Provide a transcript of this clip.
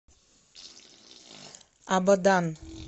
абадан